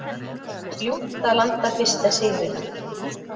Ljúft að landa fyrsta sigrinum